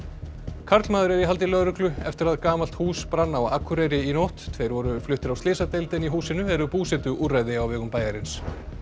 karlmaður er í haldi lögreglu eftir að gamalt hús brann á Akureyri í nótt tveir voru fluttir á slysadeild en í húsinu eru búsetuúrræði á vegum bæjarins